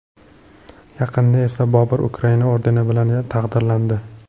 Yaqinda esa Bobur Ukraina ordeni bilan taqdirlandi.